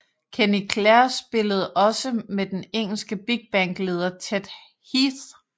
Kenny Clare spillede også med den engelske big band leder Ted Heath